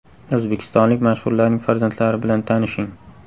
O‘zbekistonlik mashhurlarning farzandlari bilan tanishing.